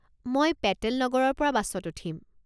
মই পেটেল নগৰৰ পৰা বাছত উঠিম।